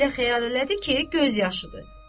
Amma elə xəyal elədi ki, göz yaşıdır.